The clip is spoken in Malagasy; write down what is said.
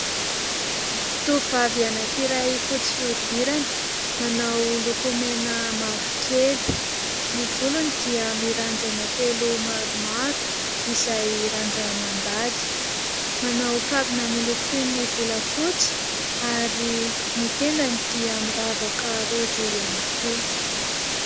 Tovovavy anankiray fotsy fihodirana, manao lokomena mavokely. Ny volony dia mirandrana telo maromaro izay randra-mandady ; manao kavina miloko toy ny volafotsy ary ny tendany dia miravaka rojo ihany koa.